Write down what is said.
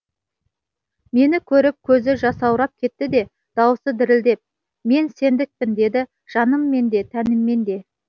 мені көріп көзі жасаурап кетті де дауысы дірілдеп мен сендікпін деді жаныммен де тәніммен де